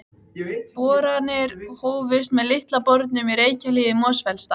Boranir hófust með Litla bornum í Reykjahlíð í Mosfellsdal.